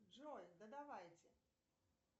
джой да давайте